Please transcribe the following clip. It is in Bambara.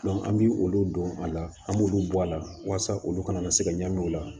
an bi olu don a la an b'olu bɔ a la walasa olu kana na se ka ɲagami o la